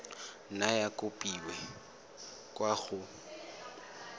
nna ya kopiwa kwa go